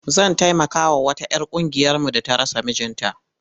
Zan taimakawa wata 'yar ƙungiyarmu da ta rasa mijinta.